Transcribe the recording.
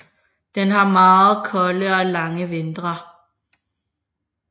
Den har meget kolde og lange vintre